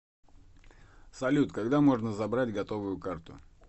салют когда можно забрать готовую карту